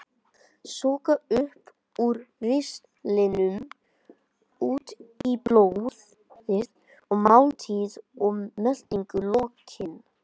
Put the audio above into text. Það er sogað upp úr ristlinum út í blóðið að máltíð og meltingu lokinni.